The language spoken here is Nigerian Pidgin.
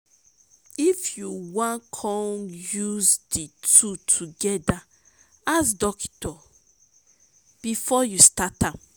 if yu wan con use di two togeda ask dokitor bifor yu start am